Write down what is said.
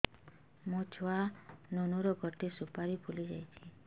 ମୋ ଛୁଆ ନୁନୁ ର ଗଟେ ସୁପାରୀ ଫୁଲି ଯାଇଛି